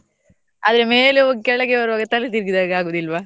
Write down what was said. ಆದ್ರೆ ಮೇಲೆ ಹೋಗಿ ಕೆಳಗೆ ಬರ್ವಾಗ ತಲೆ ತಿರ್ಗಿದ ಹಾಗೆ ಆಗುದಿಲ್ವಾ?